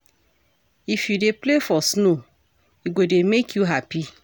If you dey play for snow, e go dey make you happy.